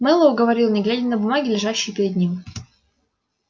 мэллоу говорил не глядя на бумаги лежащие перед ним